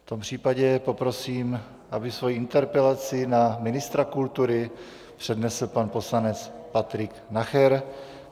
V tom případě poprosím, aby svoji interpelaci na ministra kultury přednesl pan poslanec Patrik Nacher.